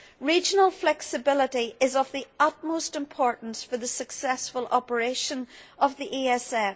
Regional flexibility is of the utmost importance for the successful operation of the ESF.